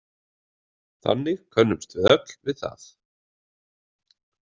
Þannig könnumst við öll við það.